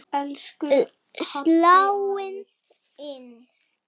Sláin inn.